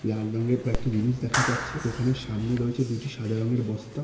লাল রঙের কয়েকটি জিনিস দেখা যাচ্ছে দোকানের সামনে রয়েছে দুটি সাদা রং এর বস্তা--